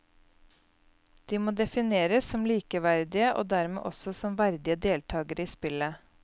De må defineres som likeverdige og dermed også som verdige deltagere i spillet.